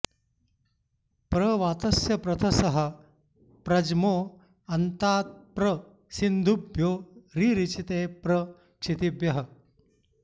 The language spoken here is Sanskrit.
प्र वातस्य प्रथसः प्र ज्मो अन्तात्प्र सिन्धुभ्यो रिरिचे प्र क्षितिभ्यः